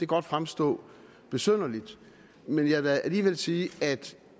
godt fremstå besynderligt men jeg vil alligevel sige at